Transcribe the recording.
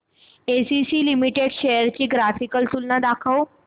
ACC limited shares ची graphical तुलना दाखव